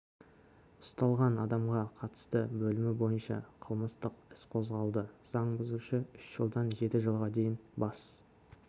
ұсталған адамға қатысты бөлімі бойынша қылмыстық іс қозғалды заң бұзушы үш жылдан жеті жылға дейін бас